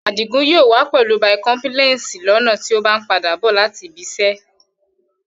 Adìgún yóò wà pẹ̀lú bíkọ́mṣèlẹ̀sì lọ́na tì o bá n padà bọ̀ láti ìbìṣẹ